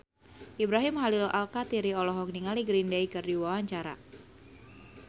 Ibrahim Khalil Alkatiri olohok ningali Green Day keur diwawancara